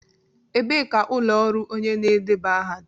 Ebee ka ụlọ ọrụ onye na-edeba aha dị?